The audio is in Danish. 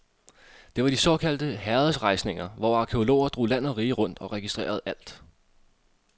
Det var de såkaldte herredsberejsninger, hvor arkæologer drog land og rige rundt og registrerede alt.